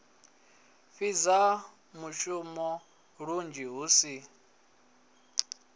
fhidza mushumoni lunzhi hu si